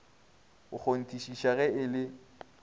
go kgonthišiša ge e le